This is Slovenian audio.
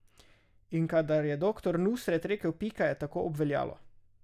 In kadar je doktor Nusret rekel pika, je tako obveljalo.